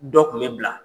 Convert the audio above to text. Dɔ kun bɛ bila